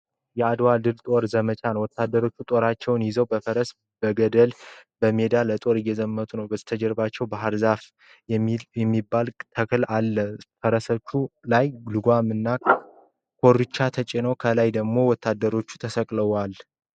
የአድዋ ድል የጦርነት ዘመቻ ነው። ወታደሮች ጦራቸውን ይዘው በፈረስ በገድል በሜዳ ለጦር እየዘመቱ ነው። ከበስተጀርባቸው ባህር ዛፍ የሚባል ተክል አለ። ፈረሶቹ ላይ ልጓም እና ኮርቻ ተጭነው፤ ከዛ በላይ ደግሞ ወታደሮች ተሰቅለዋቸዋል።